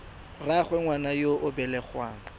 rraagwe ngwana yo o belegweng